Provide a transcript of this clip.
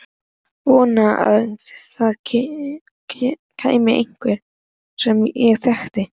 Vonaði að það kæmi einhver sem ég þekkti.